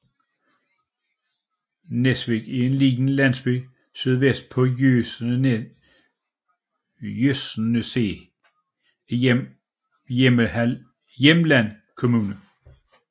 Nesvik er en lille landsby sydvest på Jøsneset i Hjelmeland kommune